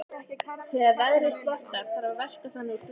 Þegar veðrinu slotar þarf að verka þang úr glugghúsum.